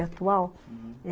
A atual, uhum.